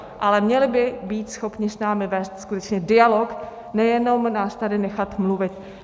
Ale měli by být schopni s námi vést skutečně dialog, nejenom nás tady nechat mluvit.